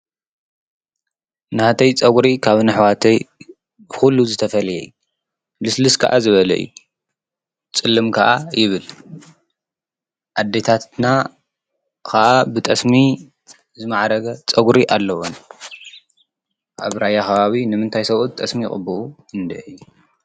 ናተይ ፀጉሪ ካብ ናይ ኣሕዋተይ ኩሉ ዝተፈለየ እዩ ።ልስልስ ከዓ ዝበለ እዩ ፅልም ከዓ ይብል ።ኣዴታትና ከዓ ብጠስሚ ዝማዕረገ ፀጉሪ ኣለዎን። ኣብ ራያ ከባቢ ንምንታይ ስብኡት ጠስሚ ይቅብኡ ? እንድዒ።